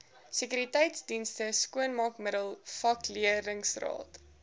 sekuriteitsdienste skoonmaakmiddels vakleerlingraad